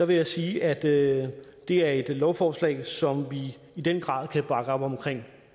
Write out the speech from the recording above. vil jeg sige at det er et lovforslag som vi i den grad kan bakke op om